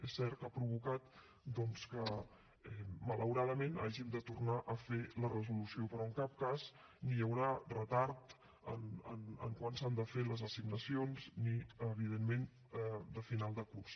és cert que ha provocat doncs que malauradament hàgim de tornar a fer la resolució però en cap cas ni hi haurà retard en quan s’han de fer les assignacions ni evidentment de final de curs